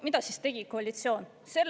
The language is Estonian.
Mida siis tegi koalitsioon?